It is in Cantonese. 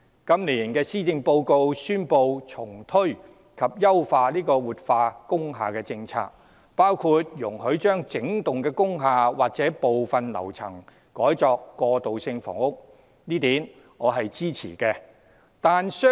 今年施政報告宣布重推及優化活化工廈政策，內容包括容許把整幢工廈或部分樓層改作過渡性房屋，我支持這一點。